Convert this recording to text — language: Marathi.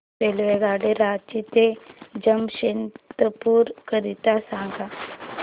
रेल्वेगाडी रांची ते जमशेदपूर करीता सांगा